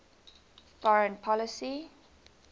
foreign policy